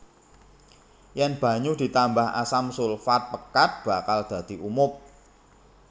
Yèn banyu ditambah asam sulfat pekat bakal dadi umob